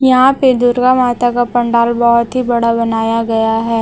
यहा पे दुर्गा माता का पंडाल बहोत ही बड़ा बनाया गया है।